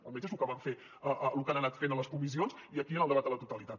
almenys és lo que han anat fent a les comissions i aquí en el debat a la totalitat